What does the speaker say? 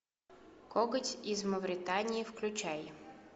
коготь из мавритании включай